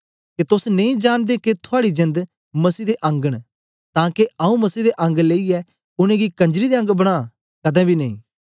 के तोस नेई जांनदे के थुआड़ी जेंद मसीह दे अंग न तां के आऊँ मसीह दे अंग लेईयै उनेंगी कंजरी दे अंग बनां कदें बी नेई